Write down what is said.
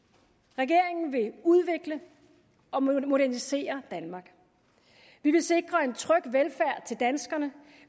regeringen vil udvikle og modernisere danmark vi vil sikre en tryg velfærd til danskerne